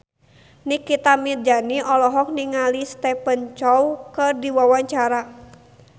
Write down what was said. Nikita Mirzani olohok ningali Stephen Chow keur diwawancara